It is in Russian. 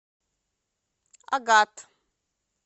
агат